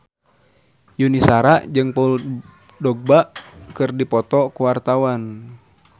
Yuni Shara jeung Paul Dogba keur dipoto ku wartawan